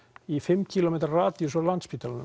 í fimm kílómetra radíus frá